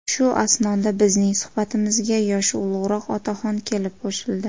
Shu asnoda bizning suhbatimizga yoshi ulug‘roq otaxon kelib qo‘shildi.